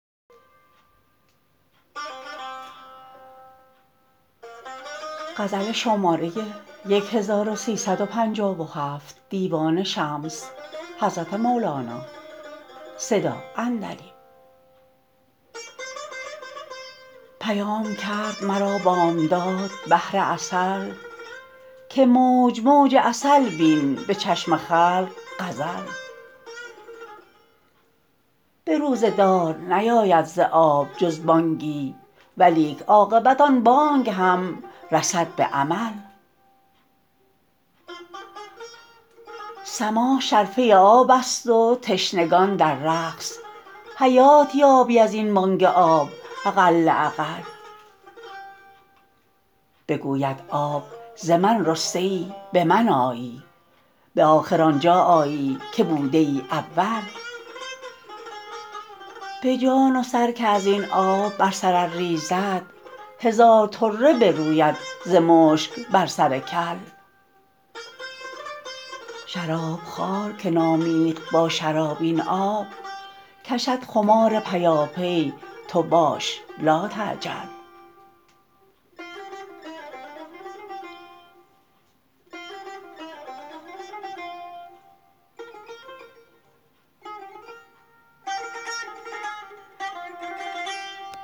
پیام کرد مرا بامداد بحر عسل که موج موج عسل بین به چشم خلق غزل به روزه دار نیاید ز آب جز بانگی ولیک عاقبت آن بانگ هم رسد به عمل سماع شرفه آبست و تشنگان در رقص حیات یابی از این بانگ آب اقل اقل بگوید آب ز من رسته ای به من آیی به آخر آن جا آیی که بوده ای اول به جان و سر که از این آب بر سر ار ریزد هزار طره بروید ز مشک بر سر کل شراب خوار که نامیخت با شراب این آب کشد خمار پیاپی تو باش لاتعجل